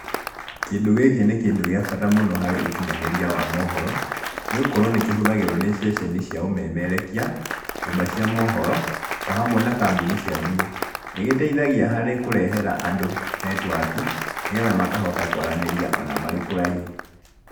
Kĩndũ gĩkĩ nĩ kĩndũ gĩa bata mũno harĩ ũkinyanĩria wa mohoro, nĩ gũkorwo nĩ kĩhũthagĩrwo nĩ ceceni cia ũmemerekia, nyũmba cia mohoro, o hamwe na kambuni cia thimũ. Nĩ gĩteithagia harĩ kurehera andũ netiwaki, nĩgetha makahota kwaranĩria ona marĩ kũraihu.